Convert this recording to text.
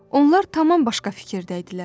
Onlar tamam başqa fikirdə idilər.